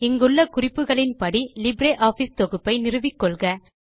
இங்குள்ள குறிப்புகளின்படி லிப்ரியாஃபிஸ் தொகுப்பை நிறுவிக்கொள்க